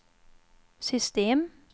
system